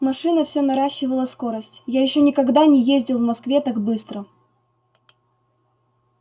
машина все наращивала скорость я ещё никогда не ездил в москве так быстро